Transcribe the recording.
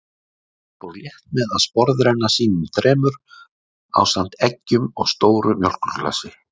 Tóti fór létt með að sporðrenna sínum þremur, ásamt eggjum og stóru mjólkurglasi.